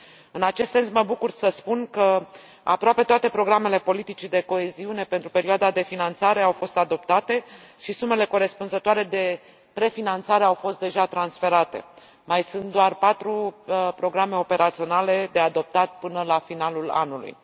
În acest sens, mă bucur să spun că aproape toate programele politicii de coeziune pentru perioada de finanțare au fost adoptate și sumele corespunzătoare de prefinanțare au fost deja transferate mai sunt doar patru programe operaționale de adoptat până la finalul anului.